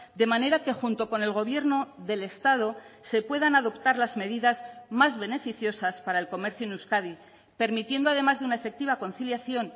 de manera que junto con el gobierno del estado se puedan adoptar las medidas más beneficiosas para el comercio en euskadi permitiendo además de una efectiva conciliación